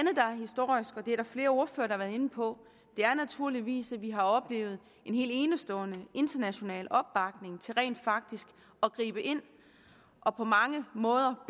historisk og det er der flere ordførere der har været inde på er naturligvis at vi har oplevet en helt enestående international opbakning til rent faktisk at gribe ind og på mange måder